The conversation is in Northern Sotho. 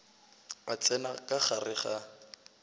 a tsena ka gare ga